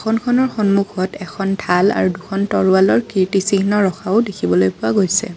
সন্মুখত এখন ঢাল আৰু দুখন তৰোৱালৰ কীৰ্ত্তিচিহ্ন ৰখাও দেখিবলৈ পোৱা গৈছে।